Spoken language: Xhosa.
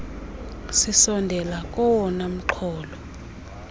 sisondela kowona mxholo